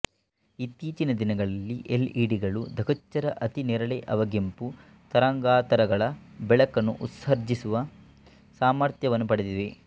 ಇತ್ತೀಚಿನ ದಿನಗಳಲ್ಲಿ L E D ಗಳು ಧೃಗ್ಗೋಚರ ಅತಿ ನೇರಳೆ ಅವಗೆಂಪು ತರಂಗಾತರಗಳ ಬೆಳಕನ್ನು ಉತ್ಸರ್ಜಿಸುವ ಸಾಮಥ್ರ್ಯವನ್ನು ಪಡೆದಿವೆ